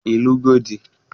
Ị lụgo di?